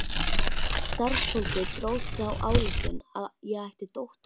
Starfsfólkið dró þá ályktun að ég ætti dóttur.